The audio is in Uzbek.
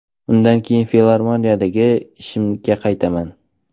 Undan keyin filarmoniyadagi ishimga qaytganman.